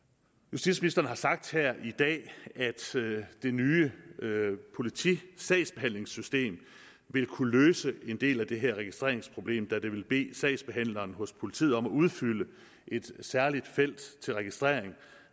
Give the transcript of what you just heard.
justitsministeren har sagt her i dag at det nye politisagsbehandlingsystem vil kunne løse en del af det her registreringsproblem da det vil bede sagsbehandleren hos politiet om at udfylde et særligt felt til registrering